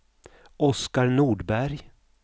Oscar Nordberg